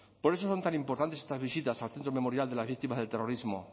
por eso son tan importantes estas visitas al centro memorial de las víctimas del terrorismo